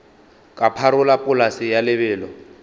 ka pharola polase ya lebelo